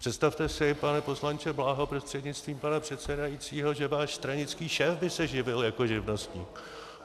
Představte si, pane poslanče Bláho prostřednictvím pana předsedajícího, že váš stranický šéf by se živil jako živnostník.